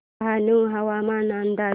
डहाणू हवामान अंदाज